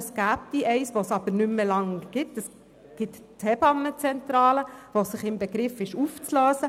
Es gibt eines, das jedoch nicht mehr lange existiert, nämlich die Hebammenzentrale, die im Begriff ist, sich aufzulösen.